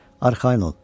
Arxayın ol.